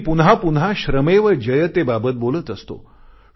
मी पुन्हापुन्हा श्रमेव जयते बाबत बोलत असतो